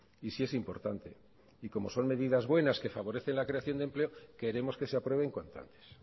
y sí es importante y como son medidas buenas que favorecen la creación de empleo queremos que se aprueben cuanto antes